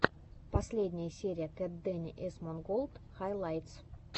последняя серия кэтдэни эсмонголд хайлайтс